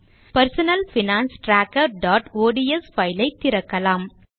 personal finance trackerஒட்ஸ் file ஐ திறக்கலாம்